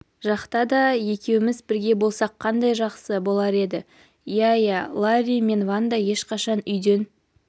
жақта да екеуміз бірге болсақ қандай жақсы болар еді иә иә ларри мен ванда ешқашан үйден